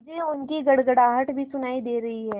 मुझे उनकी गड़गड़ाहट भी सुनाई दे रही है